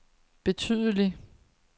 betydeligt